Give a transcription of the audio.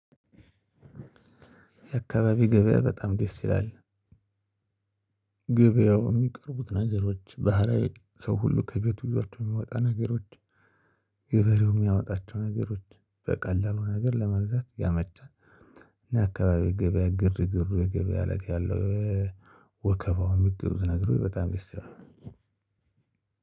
የአካባቢ ገበያ በጣም ደስ ይላል። ገበያው የሚቀርቡት ነገሮች ባህላዊ ሰው ሁሉ ከቤቱ ይዟቸው የሚያወጣ ነገሮች ገበሬው የሚያወጣቸው ነገሮች በቀላሉ ነገር ለመግዛት ያመቻል እና አካባቢ ገበያ ግርግሩ የገበያ አለቃ ያለው ወከባው የሚገዙት ነገሮች በጣም ደስ ይላል።